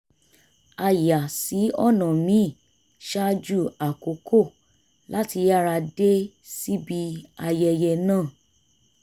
a yà sí ọ̀nà míì ṣáájú àkókò láti yára dé síbi ayẹyẹ náà